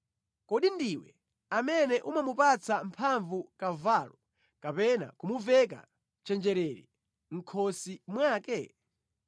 “Kodi ndiwe amene umamupatsa mphamvu kavalo kapena kumuveka chenjerere mʼkhosi mwake?